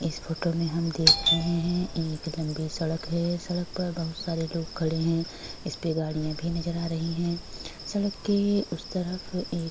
इस फोटो में हम देख रहे हैं एक लंबी सड़क है। सड़क पर बहुत सारे लोग खड़े हैं। इस पर गाड़ियाँ भी नजर आ रही हैं। सड़क के उस तरफ एक --